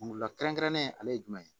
Kunkolola kɛrɛnkɛrɛnnen ale ye jumɛn ye